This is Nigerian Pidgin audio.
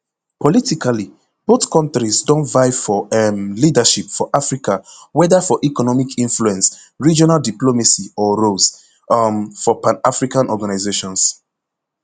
politically both kontris have don vie for um leadership for africa whether for economic influence regional diplomacy or roles um for panafrican organisations